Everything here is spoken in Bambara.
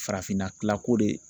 Farafinna kila ko de